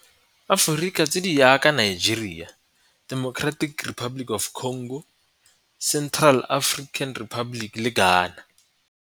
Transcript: Aforika tse di jaaka Nigeria, Democratic Republic of the Congo, Central African Republic le Ghana.